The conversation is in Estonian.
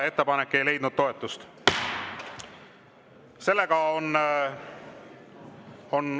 Ettepanek ei leidnud toetust.